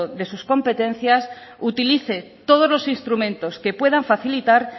de sus competencias utilice todos los instrumentos que puedan facilitar